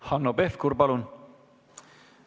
Hanno Pevkur, palun!